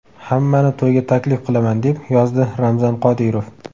Hammani to‘yga taklif qilaman!”, - deb yozdi Ramzan Qodirov.